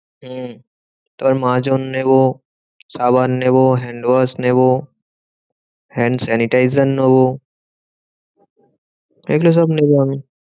হম তারপর মাজন নেবো, সাবান নেবো, hand wash নেবো, hand sanitizer নেবো। এগুলো সব নেবো আমি।